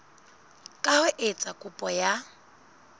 ka ho etsa kopo ya